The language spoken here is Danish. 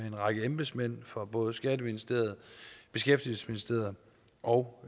en række embedsmænd fra både skatteministeriet beskæftigelsesministeriet og